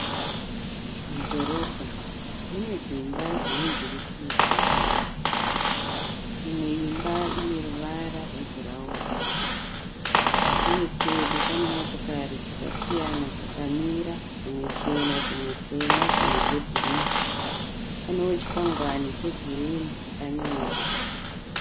Mudhorobha mune dzimba dzine njirikidzwa. Imwe imba ineruvara rwebhurauni uye pedo panemotokari dzakasiyana dzakamira dzimwe chena dzimwe tema dzimwe dzebhuruu. Panewo chikwangwani chegirinu chakanyorwa.